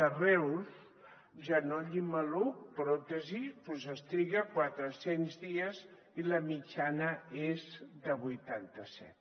a reus genoll i maluc pròtesi es triga quatre cents dies i la mitjana és de vuitanta set